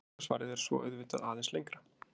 Langa svarið er svo auðvitað aðeins lengra.